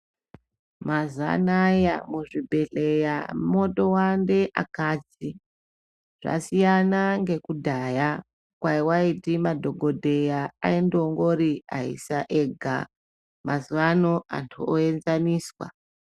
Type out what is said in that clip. Mazuva anawa muzvibhedhlera motowande akadzi zvasiyana nekudhaya kwawaiti madhokodheya aindongori vaisa vega mazuva ano Antu oenzaniswa.